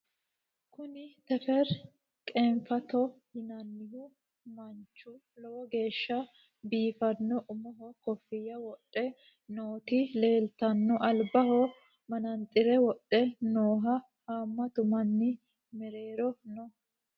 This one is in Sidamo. kuni tefera qeenfato yinannihu manchu lowo geeshsha biifanno umoho kofiyya wodhe nooti leeltanno albaho manaxire wodhe nooho haammatu manni mereero no